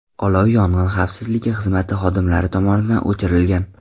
Olov yong‘in xavfsizligi xizmati xodimlari tomonidan o‘chirilgan.